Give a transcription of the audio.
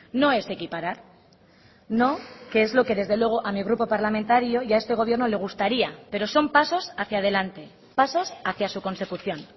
no es equiparar no que es lo que desde luego a mi grupo parlamentario y a este gobierno le gustaría pero son pasos hacia adelante pasos hacia su consecución